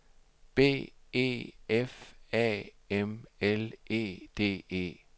B E F A M L E D E